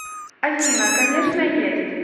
афина конечно есть